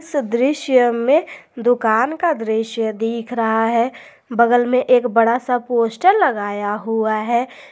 इस दृश्य में दुकान का दृश्य दिख रहा है बगल में एक बड़ा सा पोस्टर लगाया हुआ है।